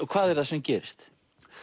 hvað er það sem gerist